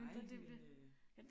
Nej men øh